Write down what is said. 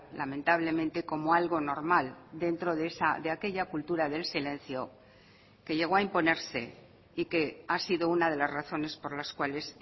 lamentablemente como algo normal dentro de aquella cultura del silencio que llegó a imponerse y que ha sido una de las razones por las cuales